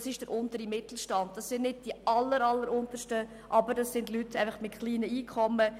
Es sind nicht jene mit den alleralleruntersten, aber es sind Leute mit kleinen Einkommen.